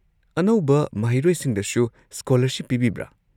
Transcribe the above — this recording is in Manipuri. ꯑꯅꯧꯕ ꯃꯍꯩꯔꯣꯏꯁꯤꯡꯗꯁꯨ ꯁ꯭ꯀꯣꯂꯔꯁꯤꯞ ꯄꯤꯕꯤꯕ꯭ꯔꯥ?